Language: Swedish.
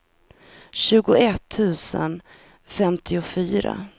tjugoett tusen femtiofyra